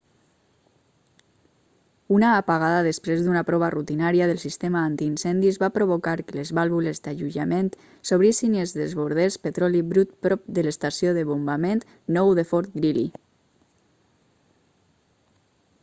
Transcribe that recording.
una apagada després d'una prova rutinària del sistema antiincendis va provocar que les vàlvules d'alleujament s'obrissin i es desbordés petroli brut prop de l'estació de bombament 9 de fort greely